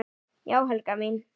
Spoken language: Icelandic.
Já já, Helga mín.